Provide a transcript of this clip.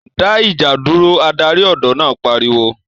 dá ìjà dúró' Adarí ọ̀dọ́ náà pariwo